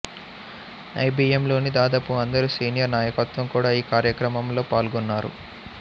ఐబిఎంలోని దాదాపు అందరు సీనియర్ నాయకత్వం కూడా ఈ కార్యక్రమంలో పాల్గొన్నారు